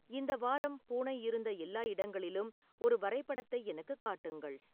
இந்த வாரம் பூனை இருந்த எல்லா இடங்களிலும் ஒரு வரைபடத்தை எனக்குக் காட்டுங்கள்